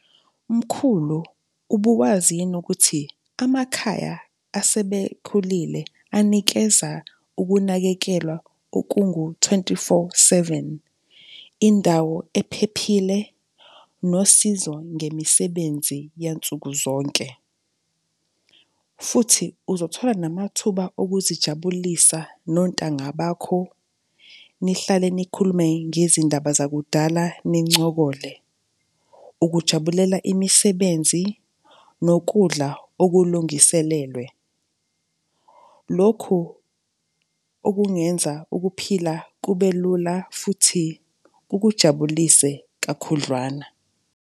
Mkhulu, ubuwazi yini ukuthi amakhaya asebekhulile anikeza ukunakekelwa okungu twenty-four seven? Indawo ephephile nosizo ngemisebenzi yansukuzonke. Futhi uzothola namathuba okuzijabulisa nontanga bakho nihlale nikhulume ngezindaba zakudala, nincokole. Ukujabulela, imisebenzi, nokudla okulungiselelwe. Lokhu okungenza ukuphila kube lula futhi kukujabulise kakhudlwana.